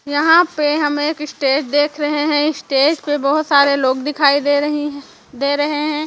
यहाँ पे हमें एक स्टेज देख रहे है स्टेज पे बहोत सारे लोग दिखाई दे रही दे रहे है।